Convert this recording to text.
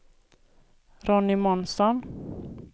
Ronny Månsson